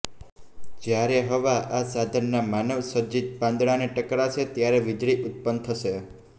જયારે હવા આ સાધનના માનવસજીત પાંદડા ને ટકરાશે ત્યારે વીજળી ઉત્પન્ન થશે